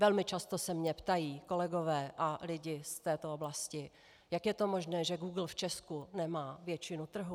Velmi často se mě ptají kolegové a lidi z této oblasti, jak je to možné, že Google v Česku nemá většinu trhu.